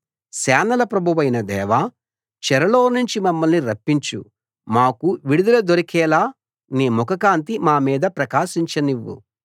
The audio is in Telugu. సేనల ప్రభువైన దేవా చెరలోనుంచి మమ్మల్ని రప్పించు మాకు విడుదల దొరికేలా నీ ముఖకాంతి మా మీద ప్రకాశించనివ్వు